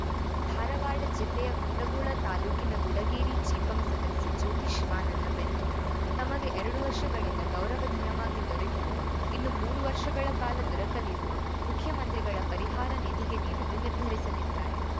ಧಾರವಾಡ ಜಿಲ್ಲೆಯ ಕುಂದಗೋಳ ತಾಲೂಕಿನ ಗುಡಗೇರಿ ಜಿಪಂ ಸದಸ್ಯೆ ಜ್ಯೋತಿ ಶಿವಾನಂದ ಬೆಂತೂರ ತಮಗೆ ಎರಡು ವರ್ಷಗಳಿಂದ ಗೌರವಧನವಾಗಿ ದೊರೆತಿರುವ ಇನ್ನು ಮೂರು ವರ್ಷಗಳ ಕಾಲ ದೊರಕಲಿರುವ ಮುಖ್ಯಮಂತ್ರಿಗಳ ಪರಿಹಾರ ನಿಧಿಗೆ ನೀಡಲು ನಿರ್ಧರಿಸಲಿದ್ದಾರೆ